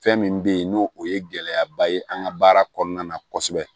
Fɛn min bɛ ye n'o o ye gɛlɛyaba ye an ka baara kɔnɔna na kosɛbɛ